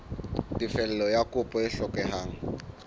tefello ya kopo e hlokehang